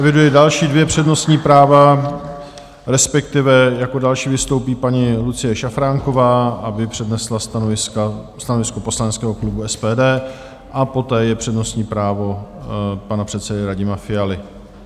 Eviduji další dvě přednostní práva, respektive jako další vystoupí paní Lucie Šafránková, aby přednesla stanovisko poslaneckého klubu SPD, a poté je přednostní právo pana předsedy Radima Fialy.